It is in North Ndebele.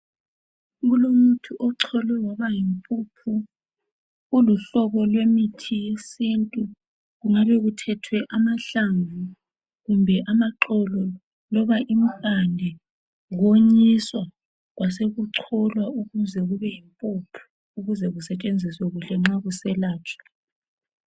Kulomuthi ocholwe waba yimpuphu uluhlobo lwemithi wesintu ,kungabe kuthethwe amahlamvu kumbe amaxolo loba impande konyiswa kwasekucholwa ukuze kube yimpuphu ukuze kusetshenziswe kuhle nxa kuselatshwa.